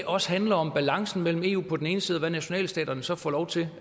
også handler om balancen mellem eu på den ene side og hvad nationalstaterne så får lov til